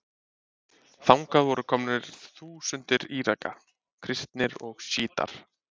Þangað voru komnar þúsundir Íraka, kristnir og sjítar.